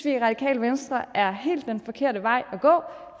i det radikale venstre er helt forkerte vej at gå